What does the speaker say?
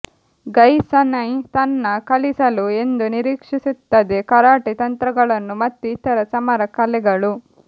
ಗೈ sensei ತನ್ನ ಕಲಿಸಲು ಎಂದು ನಿರೀಕ್ಷಿಸುತ್ತದೆ ಕರಾಟೆ ತಂತ್ರಗಳನ್ನು ಮತ್ತು ಇತರ ಸಮರ ಕಲೆಗಳು